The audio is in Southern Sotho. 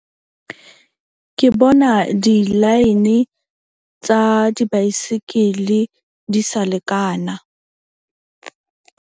Ke bona di-line tsa dibaesekele, di sa lekana .